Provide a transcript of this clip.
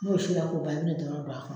N'o si la k'o ban, a bɛna dɔ wɛrɛ don a kɔnɔ.